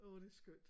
Åh det er skønt